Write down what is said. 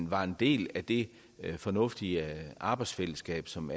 var en del af det fornuftige arbejdsfællesskab som